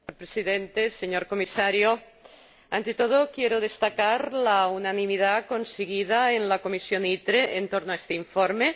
Señor Presidente, señor Comisario, ante todo quiero destacar la unanimidad conseguida en la comisión ITRE en torno a este informe.